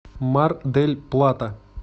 мар дель плата